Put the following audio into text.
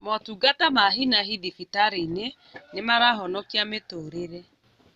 Motungata ma hi na hi thibitarĩ-inĩ nĩmarahonikia mĩtũrĩre